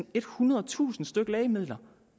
ethundredetusind stykke lægemidler